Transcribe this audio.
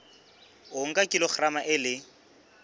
o nka kilograma e le